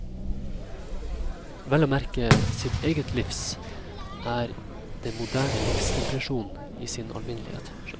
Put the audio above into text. Vel å merke sitt eget livs, ikke det moderne livs desperasjon i sin alminnelighet.